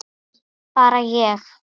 Bara ég?